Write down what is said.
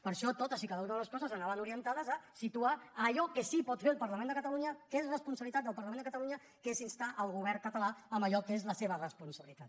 per això totes i cada una de les coses anaven orientades a situar allò que sí pot fer el parlament de catalunya que és responsabilitat del parlament de catalunya que és instar el govern català amb allò que és la seva responsabilitat